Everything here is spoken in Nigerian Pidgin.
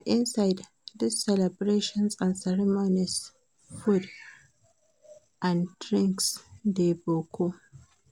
For inside these celebrations and ceremonies food and drings dey boku